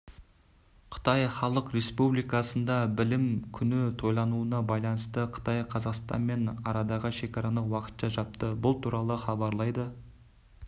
қытай халық республикасында білім күні тойлануына байланысты қытай қазақстанмен арадағы шекараны уақытша жапты бұл туралы хабарлайды